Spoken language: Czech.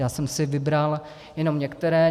Já jsem si vybral jenom některé.